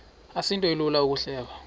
asinto ilula ukuyihleba